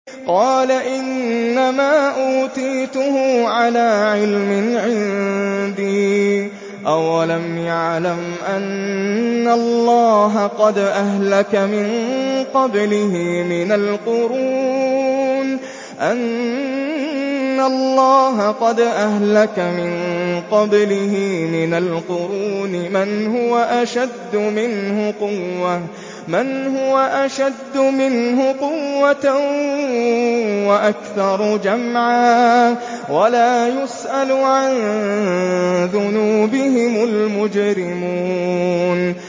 قَالَ إِنَّمَا أُوتِيتُهُ عَلَىٰ عِلْمٍ عِندِي ۚ أَوَلَمْ يَعْلَمْ أَنَّ اللَّهَ قَدْ أَهْلَكَ مِن قَبْلِهِ مِنَ الْقُرُونِ مَنْ هُوَ أَشَدُّ مِنْهُ قُوَّةً وَأَكْثَرُ جَمْعًا ۚ وَلَا يُسْأَلُ عَن ذُنُوبِهِمُ الْمُجْرِمُونَ